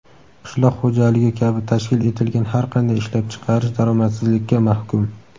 Qishloq xo‘jaligi kabi tashkil etilgan har qanday ishlab chiqarish daromadsizlikka mahkum.